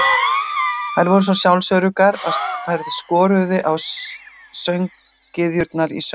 þær voru svo sjálfsöruggar að þær skoruðu á sönggyðjurnar í söngkeppni